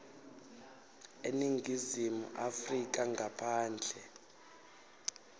eningizimu afrika ngaphandle